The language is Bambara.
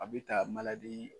A bɛ ta